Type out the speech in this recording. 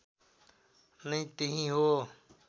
नै त्यही हो